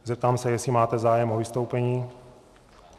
Zeptám se, jestli máte zájem o vystoupení.